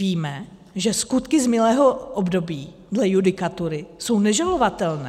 Víme, že skutky z minulého období dle judikatury jsou nežalovatelné.